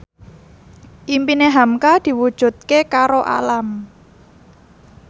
impine hamka diwujudke karo Alam